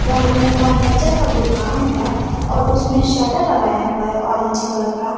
बगल में फर्नीचर का दुकान है और उसमें शटर लगाया हुआ है ऑरेंज कलर का।